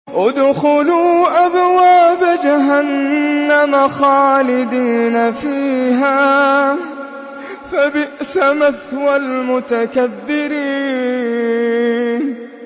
ادْخُلُوا أَبْوَابَ جَهَنَّمَ خَالِدِينَ فِيهَا ۖ فَبِئْسَ مَثْوَى الْمُتَكَبِّرِينَ